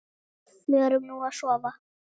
Förum nú að sofa.